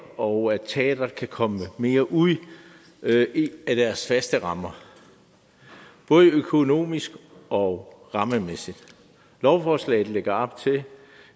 og at teateret kan komme lidt mere ud af deres faste rammer både økonomisk og rammemæssigt lovforslaget lægger op til at